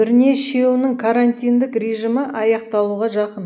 бірнешеуінің карантиндік режимі аяқталуға жақын